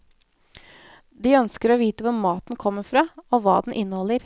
De ønsker å vite hvor maten kommer fra og hva den inneholder.